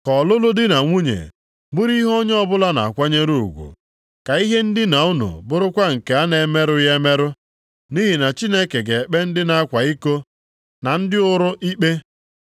Ka ọlụlụ dị na nwunye bụrụ ihe onye ọbụla na-akwanyere ugwu, ka ihe ndina unu bụrụkwa nke a na-emerụghị emerụ. Nʼihi na Chineke ga-ekpe ndị na-akwa iko na ndị ụrụ ikpe.